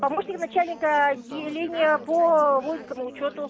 помощник начальника отделения по воинскому учёту